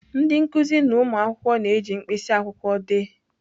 Ndị nkuzi na ụmụ akwụkwọ na-eji mkpịsị akwụkwọ dee.